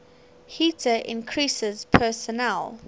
heater increases personal